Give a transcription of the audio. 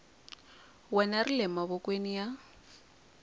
wena ri le mavokweni ya